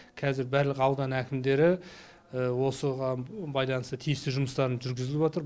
қазір барлық аудан әкімдері осыған байланысты тиісті жұмыстарын жүргізіліватыр